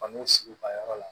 An b'u sigi u ka yɔrɔ la